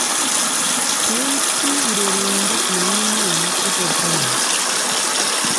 Tos ki urerenindet ne u nee Kobe Bryant?